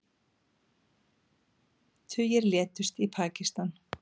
Tugir létust í Pakistan